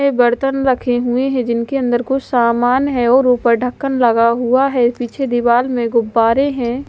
बर्तन रखे हुए है जिनके अन्दर कुछ सामान है और ऊपर ढक्कन लगा हुआ है पीछे दीवाल में गुबारे हैं।